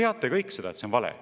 Te ju kõik teate, et see on vale.